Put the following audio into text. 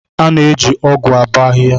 A na-eji ọgụ abọ ahihia.